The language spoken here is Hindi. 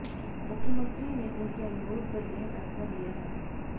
मुख्यमंत्री ने उनके अनुरोध पर यह फैसला लिया है